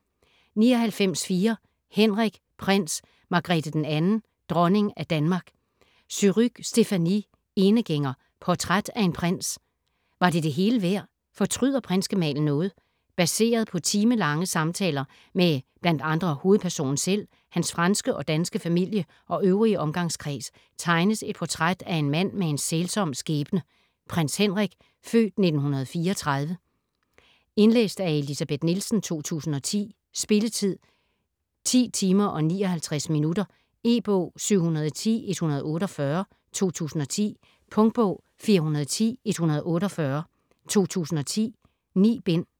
99.4 Henrik: prins, Margrethe II, dronning af Danmark Surrugue, Stéphanie: Enegænger: portræt af en prins Var det det hele værd? Fortryder prinsgemalen noget? Baseret på timelange samtaler med bl.a. hovedpersonen selv, hans franske og danske familie og øvrige omgangskreds, tegnes et portræt af en mand med en sælsom skæbne, Prins Henrik (f. 1934). Lydbog med tekst og illustrationer 19863 Indlæst af Elsebeth Nielsen, 2010. Spilletid: 10 timer, 59 minutter. E-bog 710148 2010. Punktbog 410148 2010. 9 bind.